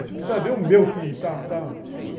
Você precisa ver o meu, que tal, tal.